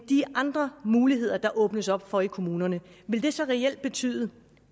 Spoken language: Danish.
de andre muligheder der åbnes op for i kommunerne vil det så reelt betyde